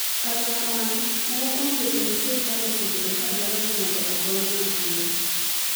Kata kamano, moko kuom jotend sirkal osebedo ka dwaro ni mondo ogonye mapiyo.